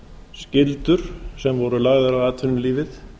skyldur sem voru lagðar á atvinnulífið